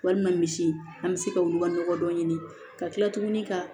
Walima misi an bɛ se ka olu ka nɔgɔ dɔ ɲini ka kila tuguni ka